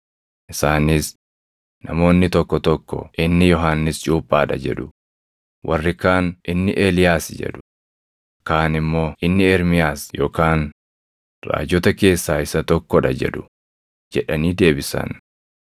Isaanis, “Namoonni tokko tokko inni Yohannis Cuuphaa dha jedhu; warri kaan inni Eeliyaas jedhu; kaan immoo inni Ermiyaas yookaan raajota keessaa isa tokko dha jedhu” jedhanii deebisan.